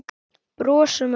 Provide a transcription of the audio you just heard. Brosum ekki.